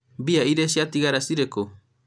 mbia irĩa ciatigara cirĩ kũ?